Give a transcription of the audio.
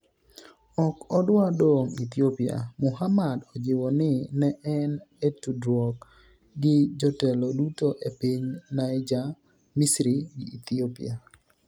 ok odwa dong' Ethiopia' Muhamad ojiwo ni ne en e tudruok gi jotelo duto e piny Niger, Misri gi Ethiopia